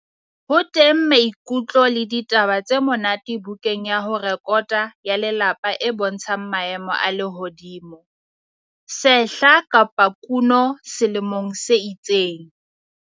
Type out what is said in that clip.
Ho teng maikutlo le ditaba tse monate bukeng ya ho rekota ya lelapa e bontshang maemo a lehodimo, sehla kapa kuno selemong se itseng.